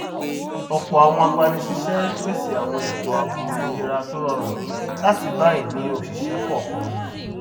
ọpọ àwọn agbanísíṣẹ ń pèsè àwọn ètò ààbò ìlera tó rọrùn láti ba ìní oṣiṣẹ kọọkan mu